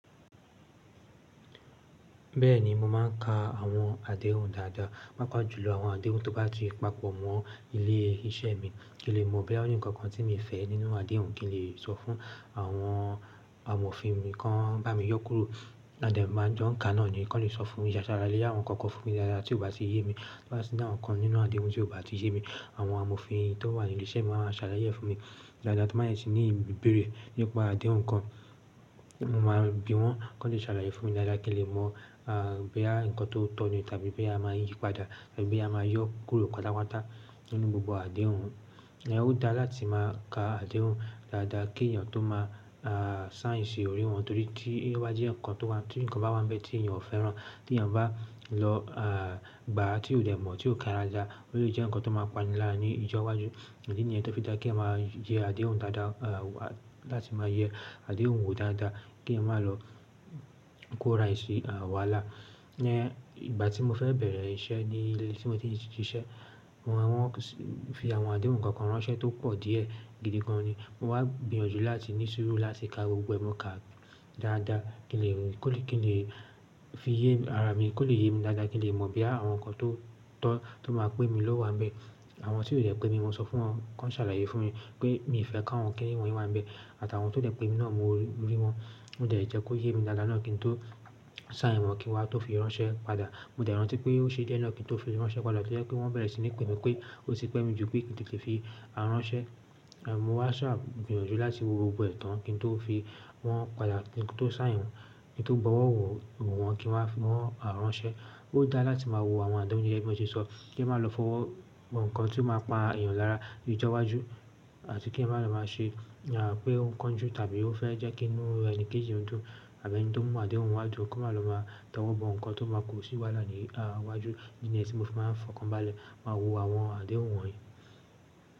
Bẹ́ẹ̀ni, mo máà ń ka àwọn àdéhùn dáadáa, pàápàá jùlọ àwọn àdéhùn tó bá ti papọ̀ mọ́ ilé iṣẹ́ mi kí n lè mọ̀ bí yá oni nǹkan kan tí mi fẹ́ nínú àdéhùn kí n lè sọ fún àwọn amòfin mi kan bá mi yọ kúrò ádẹ má jọ ń ka náà ni ni kan lè sọ fún mi, yà ṣalaye àwọn nǹkan kan fún mi dáadáa tí ó bá ti yé mi, tí ó bá ti ni awọn nkan ninu adehùn tí ó bá ti yé mi àwọn amòfin tó wà ní ilé iṣẹ́ mi wan máa ṣàlàyé ẹ fún mi dáadáa to n bá dẹ tí ní ibéèrè nípa àdéhùn kan mo máa bi wọn kan lè ṣàlàyé fún mi dáadáa kí n lè mọ̀ à bí yá nǹkan tó tọ́ni tàbí bí a máa ń yí padà àbí bí a máa yọ kúrò patápàtá nínú gbogbo àdéhùn. Ṣùgbọ́n ó dáa láti máa ka àdéhùn dáadáa kí èèyàn tó máa à sign di òrìí wọn torí tí iwájú ẹ̀ nǹkan tó bá wá ń bẹ́ tí èèyàn ò fẹ́ràn tí èèyàn bá lọ à gbà á tí ó dẹ̀ mọ̀ tí ó kà daadáa ó lè jẹ́ nǹkan tó máa pani lára ní ìjọ́wájú, àdí nìyẹn tó fi dáa kí a máa yẹ àdéhùn dáadáa à láti máa yẹ àdéhùn wo dáadáa kí èèyàn má lọ kó ra ì si àwàlá. Ní ìgbà tí mo fẹ́ bẹ̀rẹ̀ iṣẹ́ ní ilé tí mo ti n ṣiṣẹ́ wọ́n fi àwọn àdéhùn nǹkan kan ránṣẹ́ tó pọ̀ díẹ̀ gidi gan ni, mo wá gbìyànjú láti ní sùúrù láti ka gbogbo ẹ, mo kà á dáadáa kí n lè kí n lè fi yé ara mi kí ó lè yé mi dáadáa kí n lè mọ̀ bí ya àwọn nǹkan tó tọ́ tó máa pe mi lówá ń bẹ́. Àwọn tí ó dẹ̀ pé mi mo sọ fún wọn kí wọ́n ṣàlàyé fún mi pé mi ò fẹ́ ká wọn kíni wọ́nyi wá ń bẹ́ àtàwọn tó dẹ̀ pé mi náà mo rí wọn mo dẹ̀ jẹ́ kó yé mi dáadáa náà kí n tó sign wọ̀n kí n wa tó fi ránṣẹ́ padà. Mo dẹ̀ rántí pé ó ṣe díẹ̀ náà kí n tó fi ránṣẹ́ padà tó jẹ́ pé wọ́n bẹ̀rẹ̀ sí ní pè mi pé ó ti pẹ́ mi jù pé kí n tó lè fi ránṣẹ́. À mo wá ṣa gbìyànjú láti wo gbogbo ẹ̀ tàn kí n tó fi wọn padà kí n tó sign wọ̀n kí n tó bọ̀wọ̀ wò wọ́n kí n wá fi wọn ránṣẹ́. Ó dáa láti máa wo àwọn àdéhùn gẹgẹ bí i mi ṣe sọ kí a má lọ fọwọ́ bọ́ nǹkan tí ó máa pa èèyàn lára ní ìjọ́wájú àti kí èèyàn má lọ má ṣe à pé on kanju ju tàbí ó fẹ́ jẹ́ kí inú ẹni kéji o dún tàbí ẹni tó mú àdéhùn wádùú kó má lọ má tọ̀ wọ́n bọ́ nǹkan tó máa kò sí wálà ní à iwájú nìyẹn tí mo fi máa ń fọkàn báálẹ̀ máa wo àwọn àdéhùn wọ̀nyí.